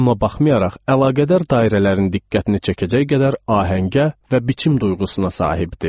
Buna baxmayaraq, əlaqədar dairələrin diqqətini çəkəcək qədər ahəngə və biçim duyğusuna sahibdir.